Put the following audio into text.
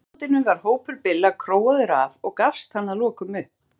Í framhaldinu var hópur Billa króaður af og gafst hann að lokum upp.